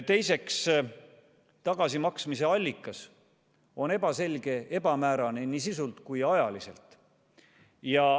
Teiseks, tagasimaksmise allikas on ebaselge, ebamäärane nii sisult kui ka ajaliselt.